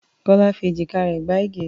Kọ́lá fi èjìká rẹ̀ gbá Ige.